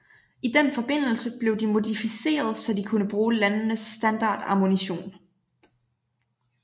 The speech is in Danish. I den forbindelse blev de modificeret så de kunne bruge landenes standard ammunition